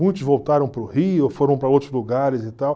Muitos voltaram para o Rio, ou foram para outros lugares e tal.